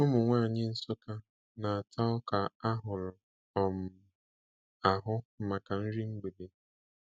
Ụmụ nwanyị Nsukka na-ata ọka ahurụ um ahụ maka nri mgbede.